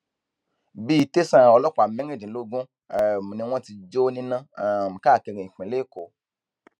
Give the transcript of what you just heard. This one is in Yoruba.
bíi tẹsán ọlọpàá mẹrìndínlógún um ni wọn ti jó níná um káàkiri ìpínlẹ èkó